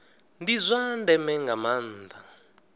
ndi zwa ndeme nga maanda